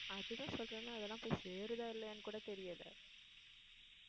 அதுதான் சொல்றேனே அதெல்லாம் போய் சேருதா இல்லையான்னு கூட தெரியலே.